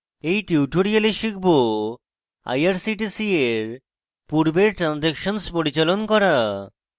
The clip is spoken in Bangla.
in tutorial শিখব: irctc in পূর্বের ট্রান্জ্যাকশন্স পরিচালন করা